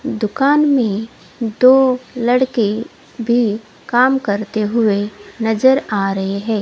दुकान में दो लड़के भी काम करते हुए नजर आ रहे हैं।